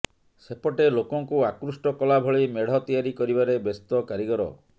ସେପଟେ ଲୋକଙ୍କୁ ଆକୃଷ୍ଟ କଲାଭଳି ମେଢ ତିଆରି କରିବାରେ ବ୍ୟସ୍ତ କାରିଗର